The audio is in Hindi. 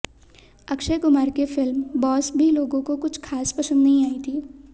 अक्षय कुमार की फिल्म बॉस भी लोगों को कुछ खास पसंद नहीं आई थी